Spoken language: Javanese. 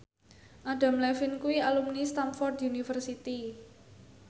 Adam Levine kuwi alumni Stamford University